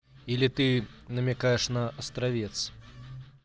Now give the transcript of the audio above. или ты намекаешь на островец